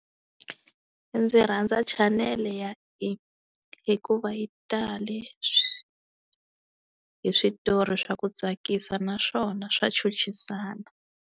Ndzi rhandza chanele ya E hikuva yi tali hi switori swa ku tsakisa naswona swa chuchisana.